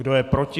Kdo je proti?